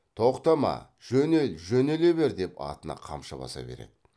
тоқтама жөнел жөнеле бер деп атына қамшы баса береді